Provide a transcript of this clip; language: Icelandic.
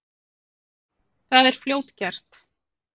Það er fljótgert.